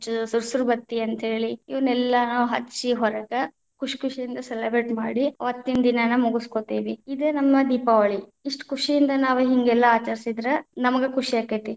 ಸುರಸುರಬತ್ತಿ ಅಂತ ಹೇಳಿ ಇವನ್ನೆಲ್ಲಾ ನಾವ್‌ ಹಚ್ಚಿ ಹೊರಗ ಖುಷಿ ಖುಷಿಯಿಂದ celebrate ಮಾಡಿ ಅವತ್ತಿನ್‌ ದಿನಾನ ಮುಗಸಕೊಂತೀವಿ, ಇದ ನಮ್ಮ ದೀಪಾವಳಿ ಇಷ್ಟ ಖುಷಿಯಿಂದ ನಾವ ಹಿಂಗೆಲ್ಲಾ ಆಚರಿಸಿದ್ರ ನಮಗ್‌ ಖುಷಿಯಾಗತೇತಿ.